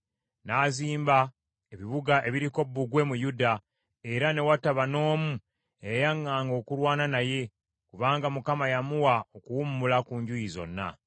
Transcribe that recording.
N’azimba ebibuga ebiriko bbugwe mu Yuda, era ne wataba n’omu eyayaŋŋanga okulwana naye, kubanga Mukama yamuwa okuwummula ku njuyi zonna.